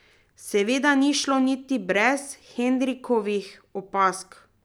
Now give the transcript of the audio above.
Seveda ni šlo niti brez Henrikovih opazk.